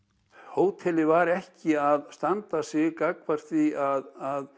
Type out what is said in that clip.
hótelið var ekki að standa sig gagnvart því að